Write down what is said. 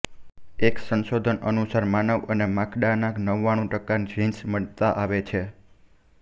એક સંશોધન અનુસાર માનવ અને માકડાનાં નવ્વાણું ટકા જીન્સ મળતાં આવે છે